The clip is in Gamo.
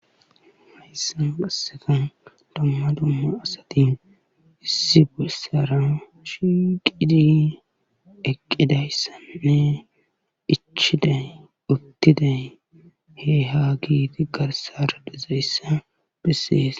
hayssan assefan domma dumma asatin issi busara shiqidi eqqidayssanne ichiday uttiday he ha giiti garsara dezayssa bessees